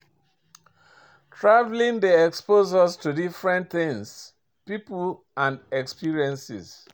Travelling dey expose us to different things, pipo and experiences